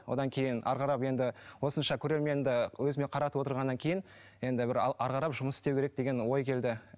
одан кейін әрі қарап енді осынша көрерменді өзіме қаратып отырғаннан кейін енді бір әрі қарап жұмыс істеу керек деген ой келді